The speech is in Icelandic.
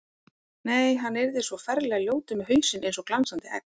Nei, hann yrði svo ferlega ljótur með hausinn eins og glansandi egg.